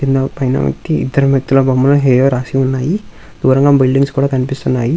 కింద పైన ఎక్కి ఇద్దరు వ్యక్తుల బొమ్మలు హేరో రాసి ఉన్నాయి దూరంగా బిల్డింగ్స్ కూడా కనిపిస్తున్నాయి.